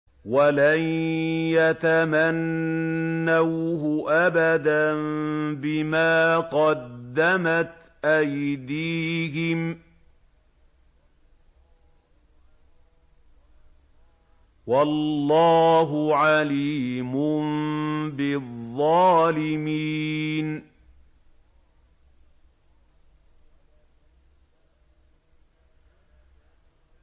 وَلَن يَتَمَنَّوْهُ أَبَدًا بِمَا قَدَّمَتْ أَيْدِيهِمْ ۗ وَاللَّهُ عَلِيمٌ بِالظَّالِمِينَ